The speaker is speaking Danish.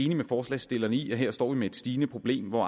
med forslagsstillerne i at vi her står med et stigende problem hvor